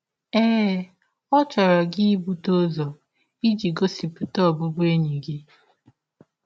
Ee, ọ chọrọ gị ibute ụzọ iji gọsipụta ọbụbụenyi gị.